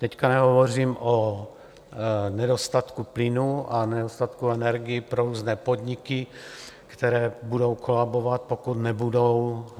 Teď nehovořím o nedostatku plynu a nedostatku energií pro různé podniky, které budou kolabovat, pokud nebudou...